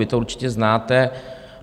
Vy to určitě znáte.